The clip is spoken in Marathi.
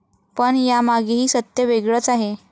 पण यामागेही सत्य वेगळंच आहे.